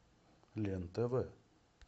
лен тв